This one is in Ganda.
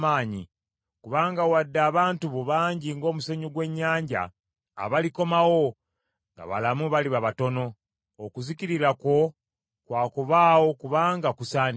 Kubanga wadde abantu bo bangi ng’omusenyu gw’ennyanja, abalikomawo nga balamu baliba batono. Okuzikirira kwo kwa kubaawo kubanga kusaanidde.